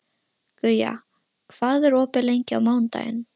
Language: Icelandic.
Guja, hvað er opið lengi á mánudaginn?